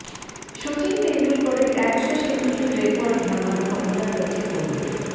সচিন তেন্ডুলকরের একশো সেঞ্চুরির রেকর্ড ভাঙার ক্ষমতা রয়েছে কোহলির